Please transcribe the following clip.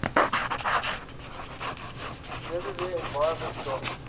www environment gov